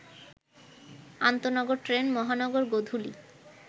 আন্তনগর train Mahanagar Godhuli